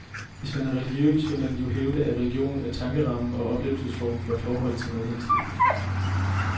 Hvis man er religiøs, vil man jo hævde, at religionen er tankerammen og oplevelsesformen for et forhold til noget hinsidigt.